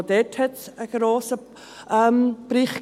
Auch dazu gab es einen grossen Bericht.